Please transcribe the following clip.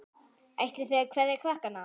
Ætlið þið að kveðja krakkar?